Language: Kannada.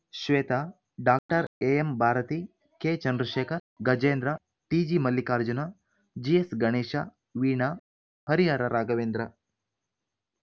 ಶ್ವೇತಾ ಡಾಕ್ಟರ್ ಎಎಂಭಾರತಿ ಕೆಚಂದ್ರಶೇಖರ ಗಜೇಂದ್ರ ಟಿಜಿಮಲ್ಲಿಕಾರ್ಜುನ ಬಿಎಸ್‌ಗಣೇಶ ವೀಣಾ ಹರಿಹರ ರಾಘವೇಂದ್ರ